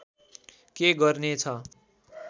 के गर्ने छ